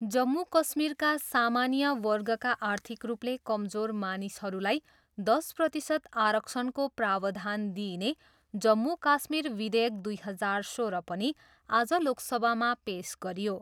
जम्मू कश्मीरमा सामान्य वर्गका आर्थिक रूपले कमजोर मानिसहरूलाई दस प्रतिशत आरक्षणको प्रावधान दिइने जम्मू काश्मीर विधेयक दुई हजार सोह्र पनि आज लोकसभामा पेस गरियो।